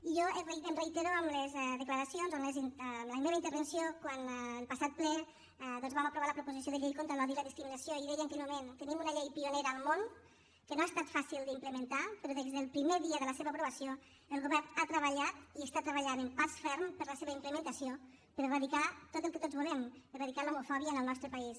i jo em reitero en les declaracions o en la meva intervenció quan en el passat ple doncs vam aprovar la proposició de llei contra l’odi i la discriminació i deia en aquell moment tenim una llei pionera al món que no ha estat fàcil d’implementar però des del primer dia de la seva aprovació el govern ha treballat i està treballant amb pas ferm per a la seva implementació per erradicar tot el que tots volem erradicar l’homofòbia en el nostre país